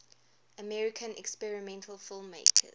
american experimental filmmakers